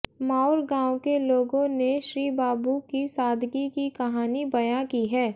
माउर गांव के लोगों ने श्रीबाबू की सादगी की कहानी बयां की है